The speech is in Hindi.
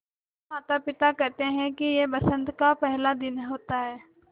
मेरे माता पिता केहेते है कि यह बसंत का पेहला दिन होता हैँ